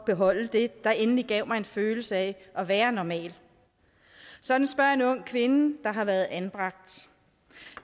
beholde det der endelig gav mig en følelse af at være normal sådan spørger en ung kvinde der har været anbragt